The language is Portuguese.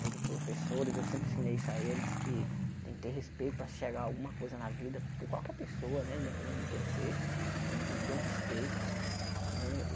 pelos professores, eu sempre ensinei isso a eles, que tem que ter respeito para se chegar alguma coisa na vida, por qualquer pessoa né, independente de quem seja, a gente tem que ter um respeito né.